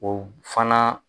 O fana